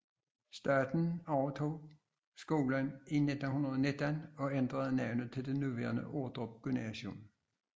Staten overtog skolen i 1919 og ændrede navnet til det nuværende Ordrup Gymnasium